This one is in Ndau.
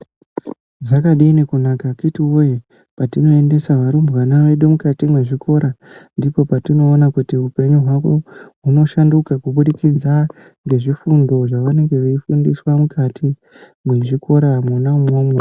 Zvakadini kunaka akiti woye patinoendesa varumbwana vedu mukati muzvikora ndipo patinoona kuti upenyu hwavo hunoshanduka kubudikidza ngezvifundo zvavanenge vachifundiswa mukati mwezvikoramwo imwomwo.